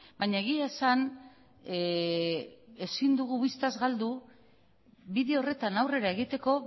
baina egia esan ezin dugu bistaz galdu bide horretan aurrera egiteko